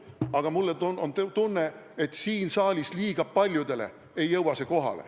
Aga mul on tunne, et liiga paljudele siin saalis ei jõua see kohale.